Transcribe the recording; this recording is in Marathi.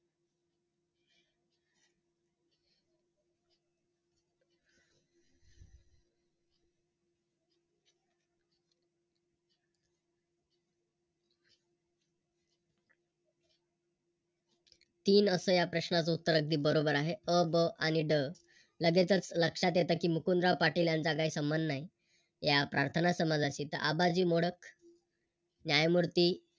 तीन असं या प्रश्नाचं उत्तर अगदी बरोबर आहे अ, ब आणि ड लगेचच लक्षात येतं की मुकुंदाराव पाटील यांचा काही संबंध नाही या प्रार्थना समाजाशी तर आबाजी मोडक, न्यायमूर्ती